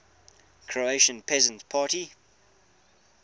croatian peasant party